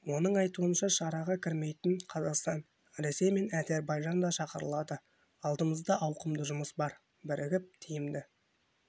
оның айтуынша шараға кірмейтін қазақстан ресей мен әзірбайжан да шақырылады алдымызда ауқымды жұмыс бар бірігіп тиімді